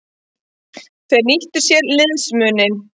Þeir nýttu sér liðsmuninn.